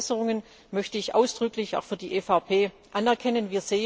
Und diese Verbesserungen möchte ich ausdrücklich auch für die EVP anerkennen.